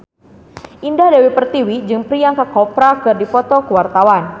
Indah Dewi Pertiwi jeung Priyanka Chopra keur dipoto ku wartawan